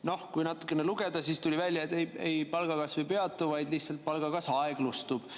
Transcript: Noh, kui natukene lugeda, siis tuli välja, et palgakasv ei peatu, vaid lihtsalt palgakasv aeglustub.